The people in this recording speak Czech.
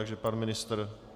Takže pan ministr.